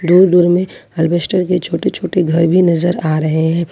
और दूर में हार्वेस्टर के छोटे छोटे घर भी नजर आ रहे हैं।